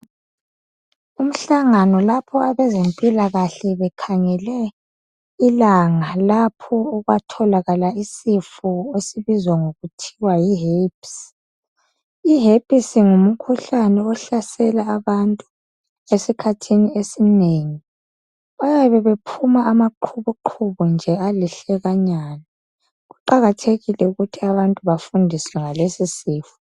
Umhlangano lapho abazempilakahle bekhangele ilanga lapho okwatholakala isifo esibizwa ngokuthi yi herpesi. I herpes ngumkhuhlane ohlasela abantu, esikhathini esinengi bayabe bephuma amaqhubuqhubu nje alihlekanyana. Kuqakathekile ukuthi abantu bafundiswe ngalesi sifo.